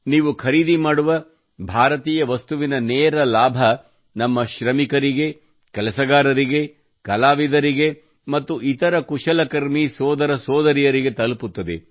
ನೀವು ಖರೀದಿ ಮಾಡುವ ಭಾರತೀಯ ವಸ್ತುವಿನ ನೇರ ಲಾಭ ನಮ್ಮ ಶ್ರಮಿಕರಿಗೆ ಕೆಲಸಗಾರರಿಗೆ ಕಲಾವಿದರಿಗೆ ಮತ್ತು ಇತರ ಕುಶಲಕರ್ಮಿ ಸೋದರ ಸೋದರಿಯರಿಗೆ ತಲುಪುತ್ತದೆ